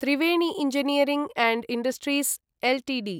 Triveni engineering and industries Ltd